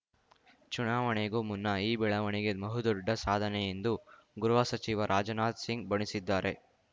ಚುನಾವಣೆಗೂ ಮುನ್ನ ಈ ಬೆಳವಣಿಗೆ ಬಹುದೊಡ್ಡ ಸಾಧನೆ ಎಂದು ಗೃಹ ಸಚಿವ ರಾಜನಾಥ್‌ ಸಿಂಗ್‌ ಬಣ್ಣಿಸಿದ್ದಾರೆ